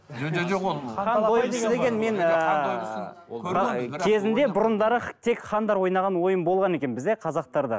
кезінде бұрындары тек хандар ойнаған ойын болған екен бізде қазақтарда